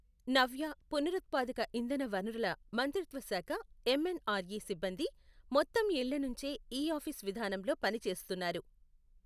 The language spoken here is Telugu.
నవ్య, పునరుత్పాదక ఇంధన వనరుల మంత్రిత్వ శాఖ ఎంఎన్ఆర్ఇ సిబ్బంది మొత్తం ఇళ్ల నుంచే ఇ ఆఫీస్ విధానంలో పని చేస్తున్నారు.